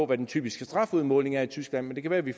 hvad den typiske strafudmåling er i tyskland men det kan være vi